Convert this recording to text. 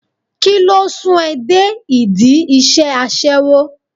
Kíló sún ẹ dé ìdí iṣẹ́ aṣẹ́wó?